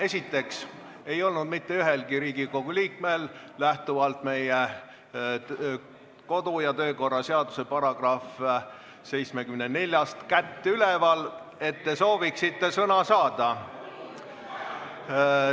Esiteks ei olnud mitte ühelgi Riigikogu liikmel lähtuvalt meie kodu- ja töökorra seaduse §-st 74 kätt üleval, et nad sooviksid sõna saada.